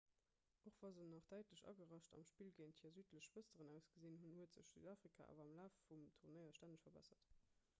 och wa se nach däitlech agerascht am spill géint hir südlech schwësteren ausgesinn hunn huet sech südafrika awer am laf vum turnéier stänneg verbessert